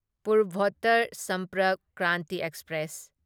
Purvottar Sampark Kranti express